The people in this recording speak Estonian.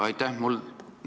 Aitäh!